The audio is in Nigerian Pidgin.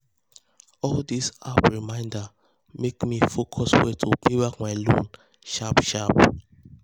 all these app reminder make me focus well to pay back my loan sharp sharp.